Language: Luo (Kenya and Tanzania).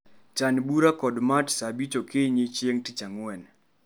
Chan bura kod Matt saa abich okinyi chieng' tich ang'wen